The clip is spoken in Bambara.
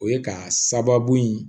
O ye ka sababu ye